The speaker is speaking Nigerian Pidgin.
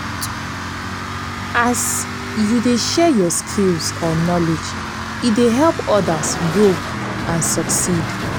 as you dey share yur skills or knowledge e dey help odas grow and succeed.